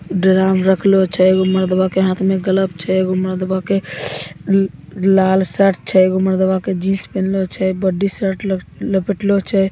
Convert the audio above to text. Drum रखलों छे उ मरदवा के हाथ मे गलफ छे एगो मरदवा के लाल शर्ट छे एगो मरदवा के जिन्स पहनले छे बड्डी शर्ट लपेटलों छे।